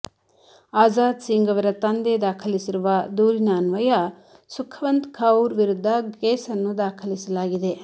ಆಜಾದ್ ಸಿಂಗ್ ಅವರ ತಂದೆ ದಾಖಲಿಸಿರುವ ದೂರಿ ಅನ್ವಯ ಸುಖವಂತ್ ಕೌರ್ ವಿರುದ್ಧ ಕೇಸನ್ನು ದಾಖಲಿಸಲಾಗಿದೆ